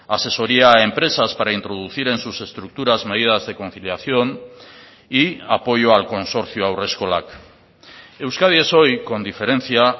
asesoría a empresas para introducir en sus estructuras medidas de conciliación y apoyo al consorcio haurreskolak euskadi es hoy con diferencia